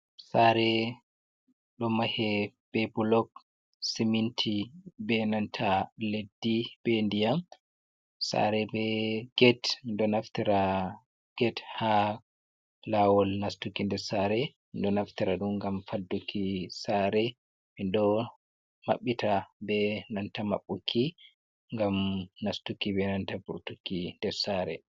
Sare ɗo mahe be bulok siminti, be nanta leddi, be ndiyam. Sare be gate, Ɗo naftira gate ha lawol nastuki nder sare, ɗum ɗo naftira ɗum ngam fadduki sare. Minɗo maɓɓita be nanta maɓɓuki ngam nastuki be nanta vurtuki nder sare.